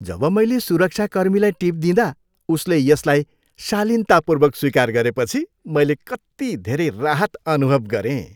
जब मैले सुरक्षाकर्मीलाई टिप दिँदा उसले यसलाई शालीनतापूर्वक स्वीकार गरेपछि मैले कति धेरै राहत अनुभव गरेँ।